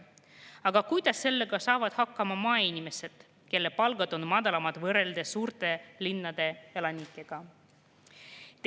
Aga kuidas sellega saavad hakkama maainimesed, kelle palgad on madalamad võrreldes suurte linnade elanikega?